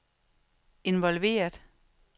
involveret